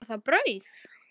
Eða var það brauð?